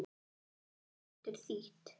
Abel getur þýtt